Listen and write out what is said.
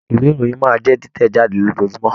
Ìwé ìròyìn máa jẹ titẹ̀ jáde lójoojúmọ́.